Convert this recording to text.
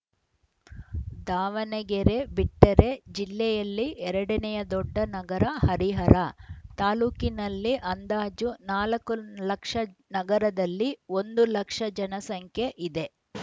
ದಾವಣಗೆರೆ ಬಿಟ್ಟರೆ ಜಿಲ್ಲೆಯಲ್ಲಿ ಎರಡನಯ ದೊಡ್ಡ ನಗರ ಹರಿಹರ ತಾಲೂಕಿನಲ್ಲಿ ಅಂದಾಜು ನಾಲ್ಕು ಲಕ್ಷ ನಗರದಲ್ಲಿ ಒಂದು ಲಕ್ಷ ಜನಸಂಖ್ಯೆ ಇದೆ